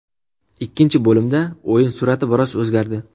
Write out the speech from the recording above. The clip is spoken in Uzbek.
Ikkinchi bo‘limda o‘yin surati biroz o‘zgardi.